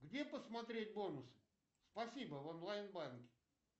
где посмотреть бонусы спасибо в онлайн банке